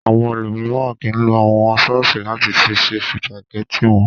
Àwọn ẹlòmíràn kì í lo àwọn sọ́ọ́sì láti fi ṣe sìpàgẹ́tì wọn.